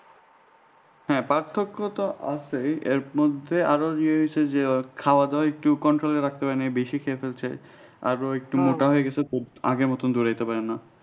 হ্যাঁ পার্থক্য তো আছে এর মধ্যে আরো ইয়ে হয়েছে যে ওর খাওয়া-দাওয়া একটু control এ রাখতে পারে নাই বেশি খেয়ে ফেলছে আর ও একটু মোটা হয়ে গেছে তো আগের মতো দৌড়াতে পারে না